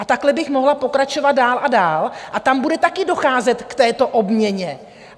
A takhle bych mohla pokračovat dál a dál a tam bude také docházet k této obměně.